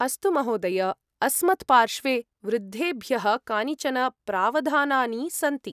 अस्तु महोदय! अस्मत्पार्श्वे वृद्धेभ्यः कानिचन प्रावधानानि सन्ति।